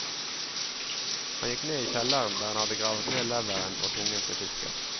Han gikk ned i kjelleren, der han hadde gravet ned leveren og tungen til fisken.